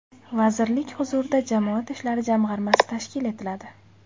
Vazirlik huzurida jamoat ishlari jamg‘armasi tashkil etiladi.